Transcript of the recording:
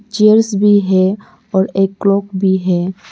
Chairs भी है और एक क्लॉक भी है।